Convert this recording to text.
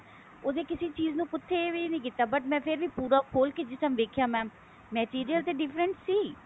ਉਹਦੀ ਕਿਸੀ ਚੀਜ ਨੂੰ ਕਿੱਥੇ ਵੀ ਨਹੀਂ ਕੀਤਾ but ਮੈਂ ਫੇਰ ਵੀ ਪੂਰਾ ਖੋਲ ਕੇ ਜਿਸ ਤਰ੍ਹਾਂ ਵੇਖਿਆ mam material ਤੇ different ਸੀ